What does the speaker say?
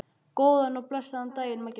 Góðan og blessaðan daginn, Maggi minn.